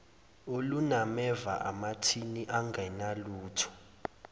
olunameva amathini angenalutho